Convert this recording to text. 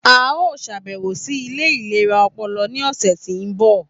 A yoo ṣabẹwo si ile ilera ọpọlọ ni ọsẹ ti n bọ.